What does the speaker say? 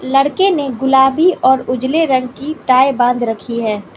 लड़के ने गुलाबी और उजले रंग की टाय बांध रखी है।